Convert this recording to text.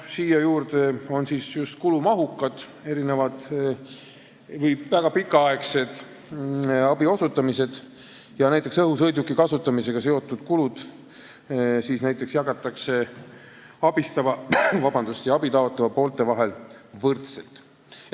Siin mõeldakse just kulumahukaid, väga pikaaegseid abiosutamisi ja ka näiteks õhusõiduki kasutamisega seotud kulusid, mis näiteks jagatakse abistava ja abi taotleva poole vahel võrdselt.